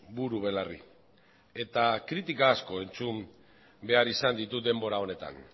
buru belarri eta kritika asko entzun behar izan ditut denbora honetan